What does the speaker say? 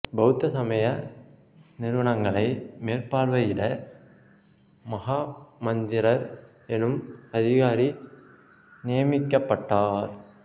பௌத்த சமய நிறுவனங்களைக் மேற்பார்வையிட மகாமாத்திரர் எனும் அதிகாரி நியமிக்கப்பட்டார்